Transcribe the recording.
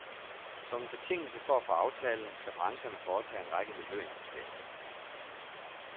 Som en betingelse for at få aftalen skal brancherne foretage en række miljøinvesteringer.